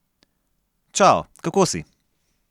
Čao, kako si?